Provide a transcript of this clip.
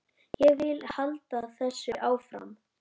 Ég vil halda þessu áfram.